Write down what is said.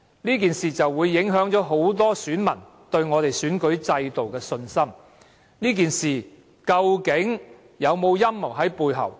這件事會影響很多選民對本港選舉制度的信心，事件背後究竟有沒有陰謀？